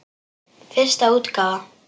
Fyrsta útgáfa.